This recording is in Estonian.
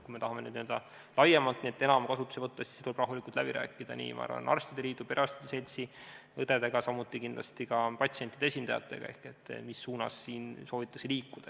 Kui me tahame neid laiemalt ja enam kasutusele võtta, siis tuleb arstide liiduga, perearstide seltsiga, õdedega, samuti patsientide esindajatega kõik rahulikult läbi rääkida, et teada saada, mis suunas soovitakse liikuda.